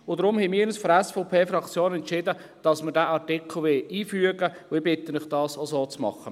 Daher haben wir uns von der SVP-Fraktion entschieden, dass wir diesen Artikel einfügen wollen, und ich bitte Sie, das auch so zu machen.